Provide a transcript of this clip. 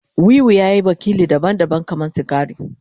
Wiwi ya yi wakili daban-daban kamar sigari.